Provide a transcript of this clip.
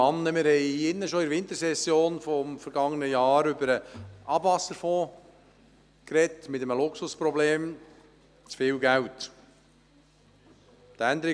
Wir haben in der Wintersession des vergangenen Jahres über den Abwasserfonds diskutiert, und zwar wegen eines Luxusproblems, nämlich, weil dort zu viel Geld vorhanden ist.